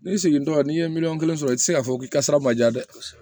N'i segintɔ n'i ye miliyɔn kelen sɔrɔ i ti se k'a fɔ k'i ka sara ma ja dɛ